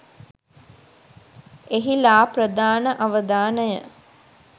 එහි ලා ප්‍රධාන අවධානය